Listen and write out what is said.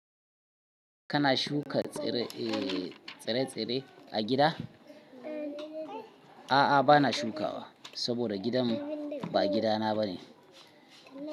Kana shuka tsire-tsire a gida? A'a, bana shukawa saboda gidan ba gida na bane.